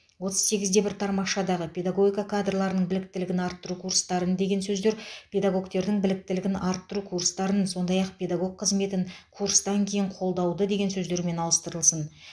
отыз сегізде бір тармақшадағы педагогика кадрларының біліктілігін арттыру курстарын деген сөздер педагогтердің біліктілігін арттыру курстарын сондай ақ педагог қызметін курстан кейін қолдауды деген сөздермен ауыстырылсын